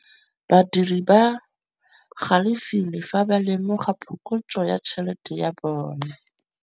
Badiri ba galefile fa ba lemoga phokotsô ya tšhelête ya bone.